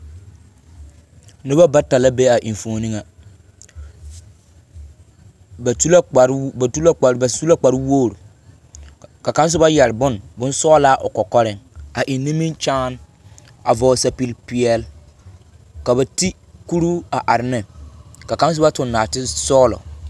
Noba bata la be a enfuoni ŋa. Ba tu la kpare wo ba tu la kpare ba su la kpare wogiri, ka kaŋe soba yԑre bone bonsͻgelaa o kͻkͻreŋ, a eŋ nimikyaane a vͻgele sapigi-peԑle. Ka ba te kuruu a are neŋ. Ka kaŋ soba tuŋ nͻͻte sͻgelͻ.